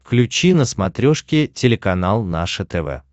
включи на смотрешке телеканал наше тв